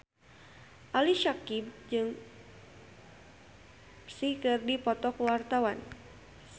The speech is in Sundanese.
Ali Syakieb jeung Psy keur dipoto ku wartawan